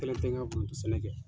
Kelen tɛ n ka sɛnɛ kɛ.